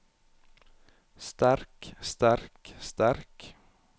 sterk sterk sterk